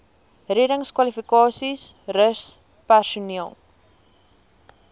reddingskwalifikasies rus personeel